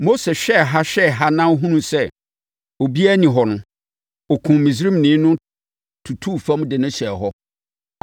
Mose hwɛɛ ha hwɛɛ ha hunuu sɛ obiara nni hɔ no, ɔkumm Misraimni no tutuu fam de no hyɛɛ hɔ.